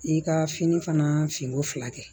I ka fini fana finiko fila kɛ